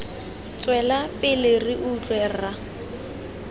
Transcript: tswela pele re utlwe rra